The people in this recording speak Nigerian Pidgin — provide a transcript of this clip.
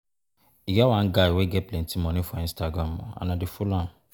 E get one guy wey get plenty money for Instagram and and I dey follow am